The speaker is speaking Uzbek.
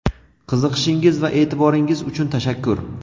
qiziqishingiz va e’tiboringiz uchun tashakkur.